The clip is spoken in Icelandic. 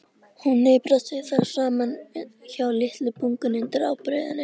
Hún hnipraði sig þar saman hjá litlu bungunni undir ábreiðunni.